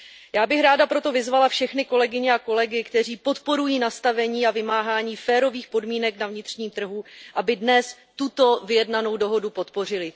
Já bych ráda proto vyzvala všechny kolegyně a kolegy, kteří podporují nastavení a vymáhání férových podmínek na vnitřním trhu, aby dnes tuto vyjednanou dohodu podpořili.